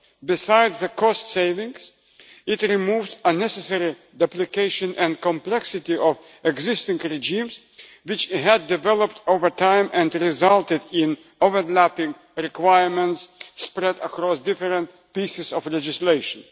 Besides the cost savings, it removes the unnecessary duplication and complexity of existing regimes, which had developed over time and resulted in overlapping requirements spread across different pieces of legislation.